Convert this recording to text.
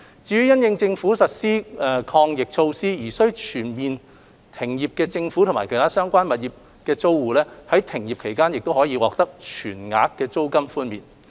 至於因應政府實施抗疫措施而須全面停業的政府及其他相關物業租戶，在停業期間更可獲全額租金寬免。